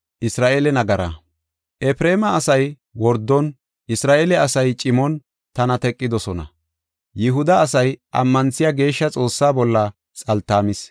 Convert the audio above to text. Efreema asay wordon, Isra7eele asay cimon tana teqidosona. Yihuda asay ammanthiya Geeshsha Xoossaa bolla xaltaamis.